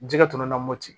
Jɛgɛ tun na moti